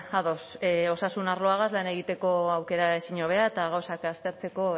ados osasun arloagaz lan egiteko aukera ezin hobea eta gauzak aztertzeko